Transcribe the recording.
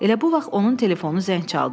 Elə bu vaxt onun telefonu zəng çaldı.